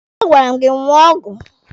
A gwara m gị ṅụọ ọgwụ!